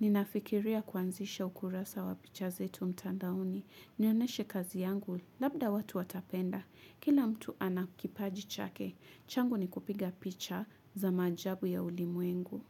Ninafikiria kuanzisha ukurasa wa picha zetu mtandaoni. Nionyeshe kazi yangu labda watu watapenda. Kila mtu anakipaji chake. Changu ni kupiga picha za maajabu ya ulimwengu.